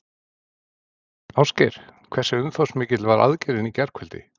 Ásgeir, hversu umfangsmikil var aðgerðin í gærkvöldi?